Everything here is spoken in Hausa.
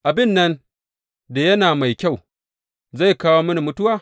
Abin nan da yana mai kyau, zai kawo mini mutuwa?